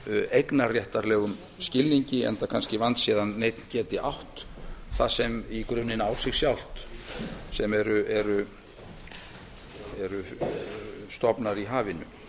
eignarréttarlegum skilningi enda kannski vandséð að neinn geti átt það sem í grunninn á sig sjálft stofnana í hafinu